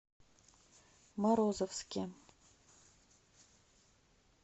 морозовске